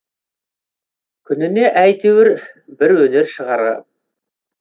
күніне әйтеуір бір өнер шығарам